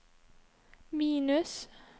minus